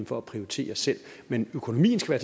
for at prioritere selv men økonomien skal